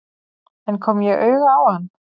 En kom ég auga á hann?